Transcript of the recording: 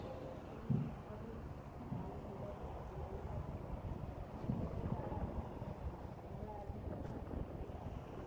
ત્યાં ગાળી માં બધું ચાલુ. થાય જાય છે આ ગાળી અઢી વાગ્યા નું છે અને સવારે ચાર વાગે મંગલ આરતી કરે. મંગલ આરતી નું દર્શન થઈ જાય ને તો બોવ સારું કેવાય.